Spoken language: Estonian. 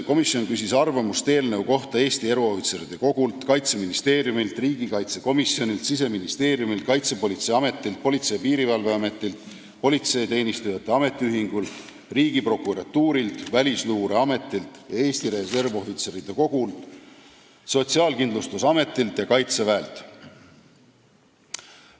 Komisjon küsis arvamust eelnõu kohta Eesti Eruohvitseride Kogult, Kaitseministeeriumilt, riigikaitsekomisjonilt, Siseministeeriumilt, Kaitsepolitseiametilt, Politsei- ja Piirivalveametilt, Politseiteenistujate Ametiühingult, Riigiprokuratuurilt, Välisluureametilt, Eesti Reservohvitseride Kogult, Sotsiaalkindlustusametilt ja Kaitseväelt.